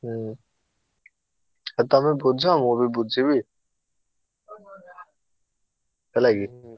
ହୁଁ ତମେ ବୁଝ ମୁଁ ବି ବୁଝିବି ହେଲା କି।